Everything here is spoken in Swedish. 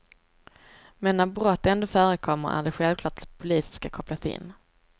Men när brott ändå förekommer är det självklart att polisen ska kopplas in.